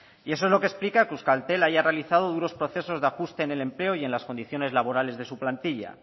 eso es lo que explica que euskaltel haya realizado duros procesos de ajuste en el empleo y en las condiciones laborales de su plantilla